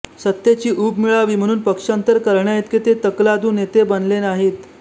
सत्तेची ऊब मिळावी म्हणून पक्षान्तर करण्याइतके ते तकलादू नेते बनले नाहीत